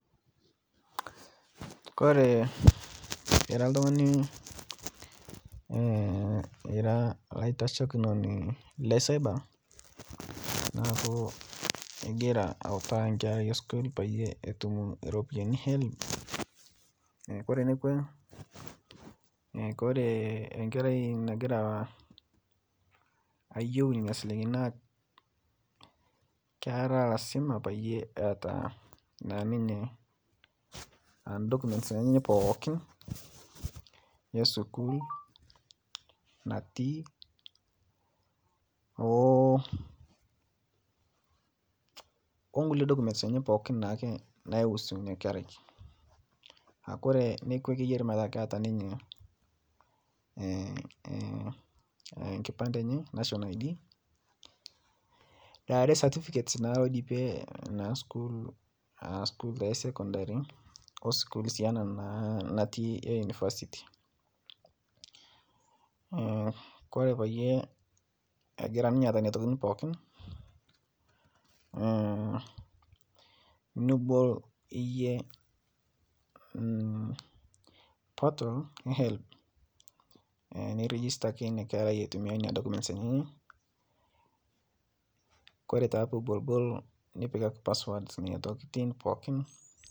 Kore ira ltung'ani , ira laitashekunoni le cyber naaku igiraa autaa nkera esukuul paiye etum ropiyani e helb kore nekwee, kore enkerai nagiraa ayeu nenia silinkini naa kera azima paiyee eata naa ninye aa documents enyanaa pookin esukuul natii oo onkulie documents enyene pooki naihusuu inia kerai akore nekwe keyari metaa keata ninye nkipande enye National Id , naare certicates naa loidipie naa sukuul aa sukul taa esokondari oskuul sii naa anaa naa nati ee university kore payie egira ninye eata nenia tokitin pookin nibol iyie portal ee helb nirijistaki inia kerai aitumia nenia documents enyanaa kore taa piibolbol nipikaki password inia tokitin pookin.